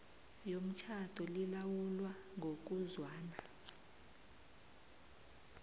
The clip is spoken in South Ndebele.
yomtjhado lilawulwa ngokuzwana